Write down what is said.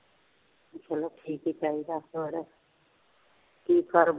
ਚੱਲੋ ਠੀਕ ਹੀ ਚਾਹੀਦਾ, ਹੋਰ ਕੀ ਕਾਰੋਬਾਰ